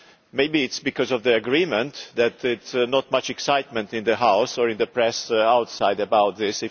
Maybe it is because of the agreement that there is not much excitement in the House or in the press outside about this